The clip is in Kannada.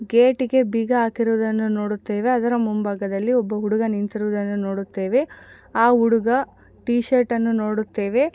ಗೇಟಿ ಗೆ ಬೀಗ ಹಾಕಿರುವುದನ್ನು ನೋಡುತ್ತೇವೆ. ಅದರ ಮುಂಭಾಗದಲ್ಲಿ ಒಬ್ಬ ಹುಡುಗ ನಿಂತಿರುವುದನ್ನು ನೋಡುತ್ತೇವೆ. ಆ ಹುಡುಗ ಟೀ ಶರ್ಟ್ ಅನ್ನು ನೋಡುತ್ತೇವೆ.